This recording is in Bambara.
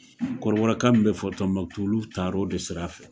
kɔrɔbɔrɔkan min bɛ fɔ Tombouctou olu taar'o de sira fɛ.